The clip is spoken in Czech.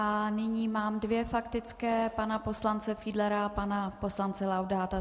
A nyní mám dvě faktické - pana poslance Fiedlera a pana poslance Laudáta.